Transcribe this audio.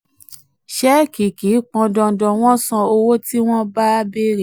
ṣẹ́ẹ́kì kì í pọn dandan wọ́n san owó tí wọ́n bá béèrè.